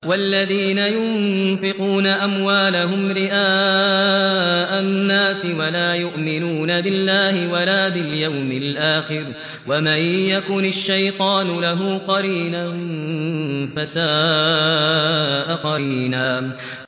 وَالَّذِينَ يُنفِقُونَ أَمْوَالَهُمْ رِئَاءَ النَّاسِ وَلَا يُؤْمِنُونَ بِاللَّهِ وَلَا بِالْيَوْمِ الْآخِرِ ۗ وَمَن يَكُنِ الشَّيْطَانُ لَهُ قَرِينًا فَسَاءَ قَرِينًا